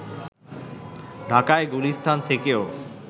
ঢাকার গুলিস্তান থেকেও